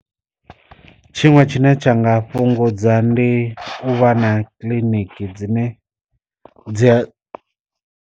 Tshiṅwe tshine tsha nga fhungudza ndi u vha na kiḽiniki dzine dzi a.